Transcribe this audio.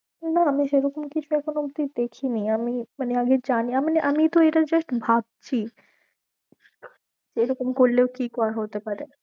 না আমি সেরকম কিছু এখনো অবধি দেখিনি আমি মানে আমি জানি~ মানে আমি তো এটা just ভাবছি এরকম করলেও কি ক~ হতে পারে